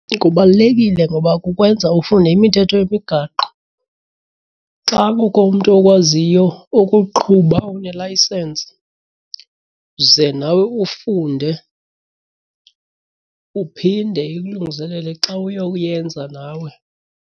Kubalulekile ngoba kukwenza ufunde imithetho yemigaqo. Xa kukho umntu okwaziyo ukuqhuba onelaysensi ze nawe ufunde uphinde ikulungiselele xa uyokuyenza nawe.